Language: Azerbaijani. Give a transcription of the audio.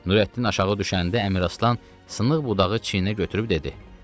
Nurəddin aşağı düşəndə Əmiraslan sınıq budağı çiyinə götürüb dedi: